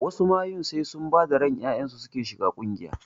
Wasu mayun sai sun bada ran ƴaƴansu suke shiga ƙungiya